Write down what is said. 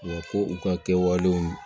Wa ko u ka kɛwalew